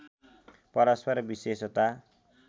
परस्पर विशेषता